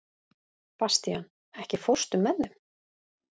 Bastían, ekki fórstu með þeim?